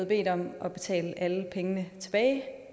bedt om at betale alle pengene tilbage